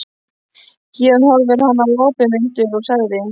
Héðinn horfði á hann opinmynntur og sagði